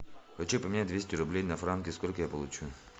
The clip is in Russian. хочу поменять двести рублей на франки сколько я получу